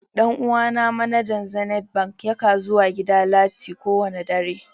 Dan uwa na manajan zenith Bank ya ka zuwa gida lati kowani dare.